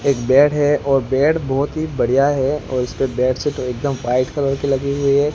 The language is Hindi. एक बेड है और बेड बहोत ही बढ़िया है और इस पर बेडशीट एकदम व्हाइट कलर की लगी हुई है।